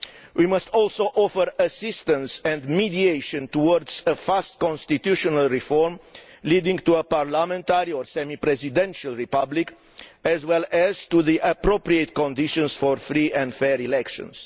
We must also offer assistance and mediation towards swift constitutional reform leading to a parliamentary or semi presidential republic, as well as to the appropriate conditions for free and fair elections.